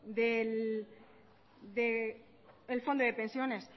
del fondo de pensiones